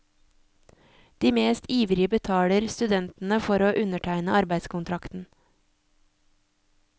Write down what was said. De mest ivrige betaler studentene for å undertegne arbeidskontrakten.